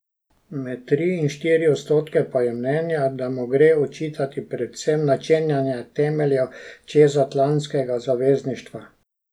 Med tri in štiri odstotke pa je mnenja, da mu gre očitati predvsem načenjanje temeljev čezatlantskega zavezništva.